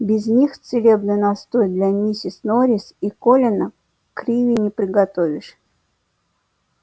без них целебный настой для миссис норрис и колина криви не приготовишь